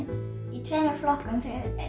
í tveimur flokkum